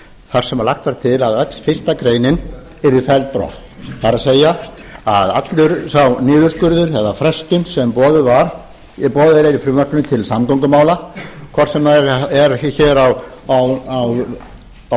þar sem lagt var til að öll fyrstu grein yrði felld brott það er að allur sá niðurskurður eða frestun sem boðuð er í frumvarpinu til samgöngumála hvort sem það er á höfuðborgarsvæðinu eða á norðausturhorni landsins eða á